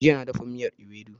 Jiya na dafa miyar Iwedu